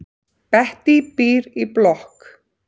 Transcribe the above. Bettý býr í blokk.